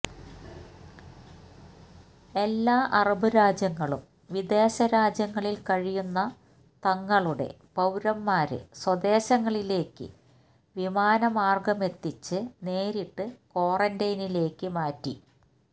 എല്ലാ അറബ് രാജ്യങ്ങളും വിദേശ രാജ്യങ്ങളില് കഴിയുന്ന തങ്ങളുടെ പൌരന്മാരെ സ്വദേശങ്ങളിലേക്ക് വിമാന മാര്ഗമെത്തിച്ച് നേരിട്ട് ക്വാറന്റൈനിലേക്ക് മാറ്റി